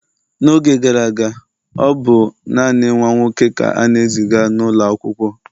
n'oge gara aga, ọ bụ naanị nwa nwoke ka a na-eziga n'ụlọ akwụkwọ